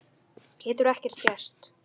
Getur ekki gerst.